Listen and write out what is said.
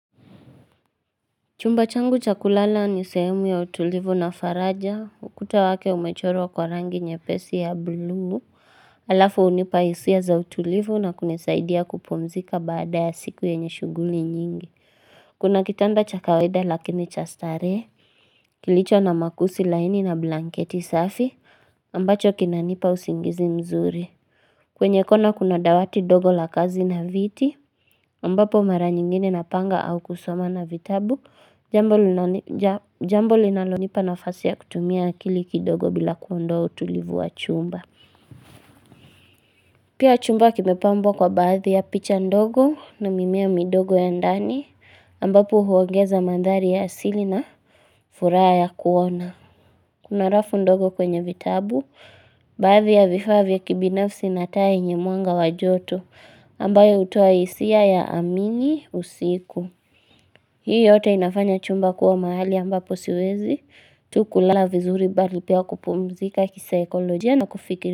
Chumba changu cha kulala ni sehemu ya utulivu na faraja, ukuta wake umechorwa kwa rangi nyepesi ya buluu, alafu hunipa hisia za utulivu na kunisaidia kupumzika baada ya siku yenye shughuli nyingi. Kuna kitanda cha kawaida lakini cha starehe, kilicho na makuzi laini na blanketi safi, ambacho kinanipa usingizi mzuri. Kwenye kona kuna dawati dogo la kazi na viti, ambapo mara nyingine napanga au kusoma na vitabu, jambo linalonipa nafasi ya kutumia akili kidogo bila kuondoa utulivu wa chumba. Pia chumba kimepambwa kwa baadhi ya picha ndogo na mimea midogo ya ndani, ambapo huongeza mandhari ya asili na furaha ya kuona. Kuna rafu ndogo kwenye vitabu, baadhi ya vifaa vya kibinafsi na taa yenye mwanga wa joto ambayo hutoa hisia ya amini usiku Hii yote inafanya chumba kuwa mahali ambapo siwezi tu kulala vizuri bali pia kupumzika kisaikolojia na kufikiri.